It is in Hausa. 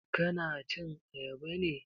Ka na cin ayaba ne?